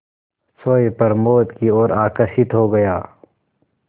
सोए प्रमोद की ओर आकर्षित हो गया